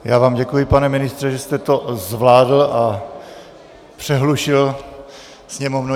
Já vám děkuji, pane ministře, že jste to zvládl a přehlušil sněmovnu.